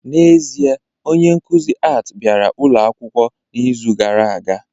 N'ezie, onye nkuzi Art bịara ụlọ akwụkwọ n'izu gara aga